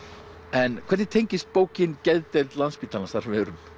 en hvernig tengist bókin geðdeild Landspítalans þar sem við erum